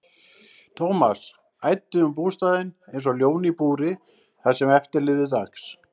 Thomas æddi um bústaðinn einsog ljón í búri það sem eftir lifði dags.